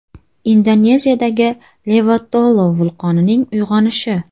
Indoneziyadagi Levotolo vulqonining uyg‘onishi.